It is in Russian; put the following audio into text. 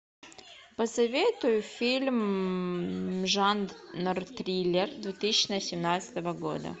посоветуй фильм жанр триллер две тысячи семнадцатого года